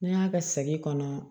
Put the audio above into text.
N'an y'a kɛ segi kɔnɔ